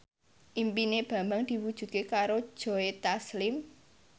impine Bambang diwujudke karo Joe Taslim